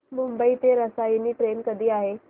मुंबई ते रसायनी ट्रेन कधी आहे